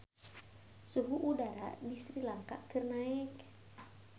Suhu udara di Sri Lanka keur naek